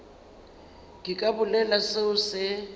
ke ka bolela seo se